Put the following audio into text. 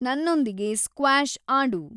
ನನ್ನೊಂದಿಗೆ ಸ್ಕ್ವ್ಯಾಷ್ ಆಡು